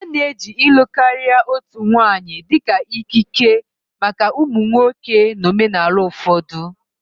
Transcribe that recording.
A na-eji ịlụ karịa otu nwanyị dị ka ikike maka ụmụ nwoke na omenala ụfọdụ